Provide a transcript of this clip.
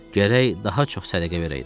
Gərək daha çox sədəqə verəydim.